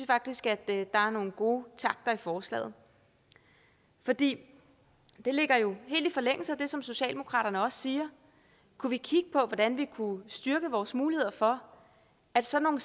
faktisk at der er nogle gode takter i forslaget for det ligger jo helt i forlængelse af det som socialdemokratiet også siger kunne vi kigge på hvordan vi kunne styrke vores muligheder for at sådan